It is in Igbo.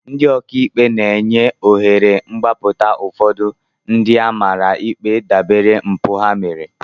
Ndị ọka ikpe na-enye ohere mgbapụta ụfọdụ ndị a mara ikpe dabere mpụ ha mere